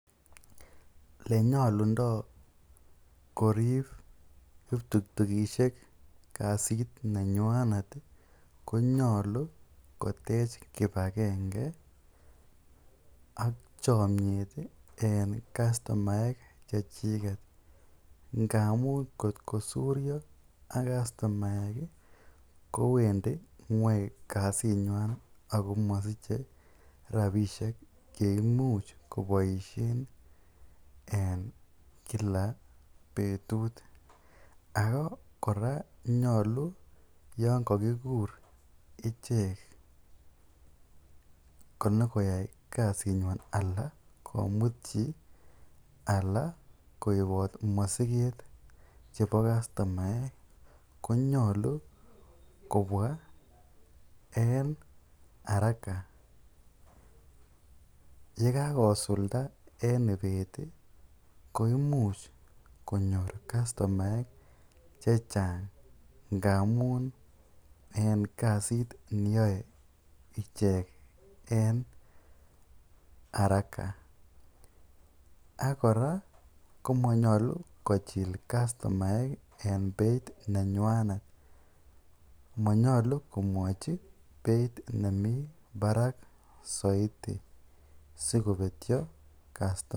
Ole nyolundo korib ptutukisiek korip kasit nenywanet konyolu kotech kipagenge ak chomyet en kastomaek chechiget. Ngamun ngotko suryo ak kastomaek kowendi ng'weny kasinywan ago mosiche rabisiek ye imuch koboisien en kila betut. Ago kora nyolu yon kagikur ichek konyo koyai kasinywan anan komut chi ala koibot mosiket chebo kastomaek, konyolu kobwa en haraka ye kagosulda en ibet, koimuch konyor kastomaek che chang ngamun en kasit neyoe ichek en haraka ak kora komonyolu kochil kastomake en beit nenywanet. Monyollu komwochi beit nemi barak soiti sikobetyo kastomaek.